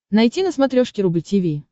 найти на смотрешке рубль ти ви